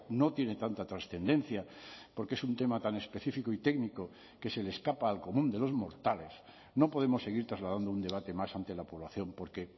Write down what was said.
no tiene tanta trascendencia porque es un tema tan específico y técnico que se le escapa al común de los mortales no podemos seguir trasladando un debate más ante la población porque